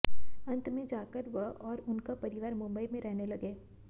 अंत में जाकर वह और उनका परिवार मुंबई में रहने लगे